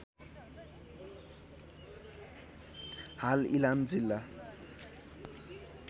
हाल इलाम जिल्ला